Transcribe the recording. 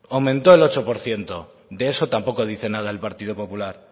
aumentó el ocho por ciento de eso tampoco dice nada el partido popular